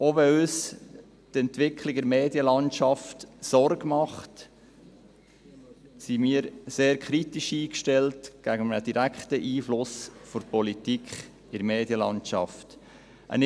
Auch wenn uns die Entwicklung der Medienlandschaft Sorgen bereitet, sind wir gegenüber einem direkten Einfluss der Politik auf die Medienlandschaft sehr kritisch eingestellt.